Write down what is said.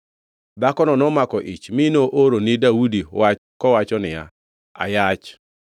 Dhakono nomako ich mi nooro ni Daudi wach kowacho niya, “Ayach.”